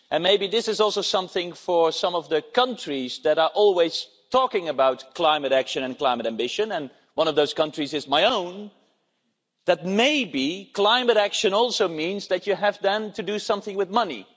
And maybe this is also something for some of the countries that are always talking about climate action and climate ambition, and one of those countries is my own that may be climate action also means that you have to do something with money.